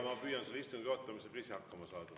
Ma püüan selle istungi juhatamisega ise hakkama saada.